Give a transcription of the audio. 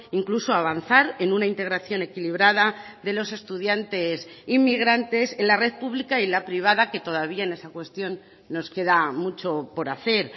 incluso avanzar en una integración equilibrada de los estudiantes inmigrantes en la red pública y la privada que todavía en esa cuestión nos queda mucho por hacer